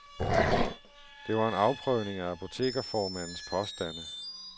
Det var en afprøvning af apotekerformandens påstande.